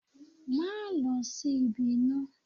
Máa lọ sí ibi iná